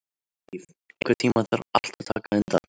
Líf, einhvern tímann þarf allt að taka enda.